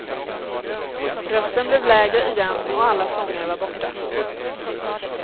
Rösten blev lägre igen och alla sånger var borta.